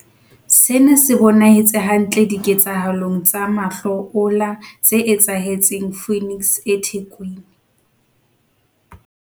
Sena se bonahetse hantle diketsahalong tsa mahlo ola tse etsahetseng Phoenix eThekwini.